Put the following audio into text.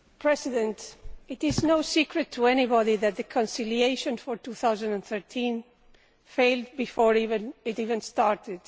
Mr President, it is no secret to anybody that the conciliation for 2013 failed before it even started.